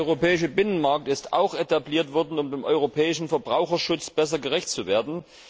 Der europäische Binnenmarkt ist auch etabliert worden, um dem europäischen Verbraucherschutz besser gerecht zu werden.